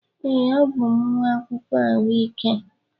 Ee, abụ m nwa akwụkwọ ahụike.